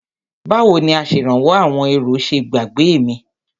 Báwo ni Aṣèrànwọ́ àwọn èrò ṣe gbàgbé mi?